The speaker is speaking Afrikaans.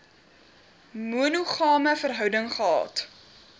monogame verhouding gehad